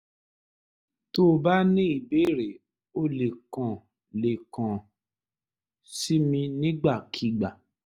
tó o bá ní ìbéèrè o lè kàn lè kàn sí mi nígbàkigbà